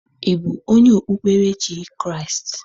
Ị bụ onye okpukperechi Kraịst?